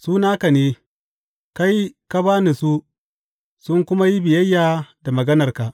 Su naka ne; kai ka ba ni su sun kuma yi biyayya da maganarka.